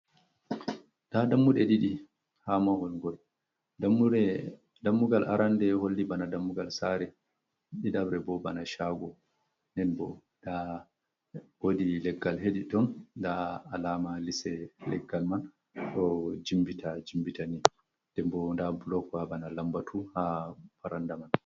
Ɗa ɗammuɗe ɗiɗi ha mawal go ɗammugal aranɗe holli ɓana ɗammugal sare ɗiɗaɓre ɓo ɓana shago. nen ɓo ɗa woɗi leggal heɗi ton ɗa alama lise leggal man do jimɓita jimɓita ni ɗemɓo ɗa ɓlokwa ɓana lamɓatu ha faranɗa man.